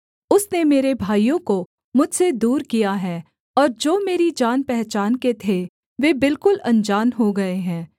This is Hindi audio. उसने मेरे भाइयों को मुझसे दूर किया है और जो मेरी जानपहचान के थे वे बिलकुल अनजान हो गए हैं